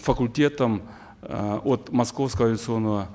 факультетом э от московского авиационного